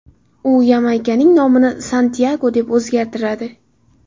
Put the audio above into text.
U Yamaykaning nomini Santyago deb o‘zgartiradi.